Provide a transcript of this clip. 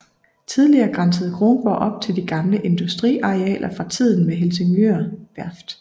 Tidligere grænsede Kronborg op til de gamle industriarealer fra tiden med Helsingør Værft